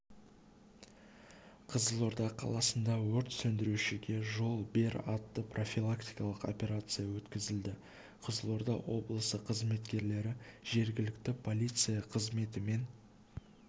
қызылорда қаласында өрт сөндірушіге жол бер атты профилактикалық операция өткізілді қызылорда облысы қызметкерлері жергілікті полиция қызметімен